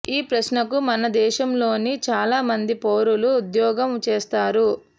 ఈ ప్రశ్నకు మన దేశంలోని చాలా మంది పౌరులు ఉద్యోగం చేస్తారు